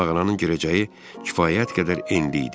Mağaranın girəcəyi kifayət qədər enli idi.